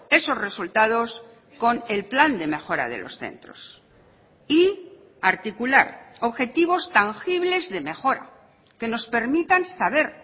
esos resultados con el plan de mejora de los centros y articular objetivos tangibles de mejora que nos permitan saber